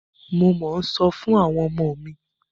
Mo mọ́ ń sọ fún àwọn ọmọ mi.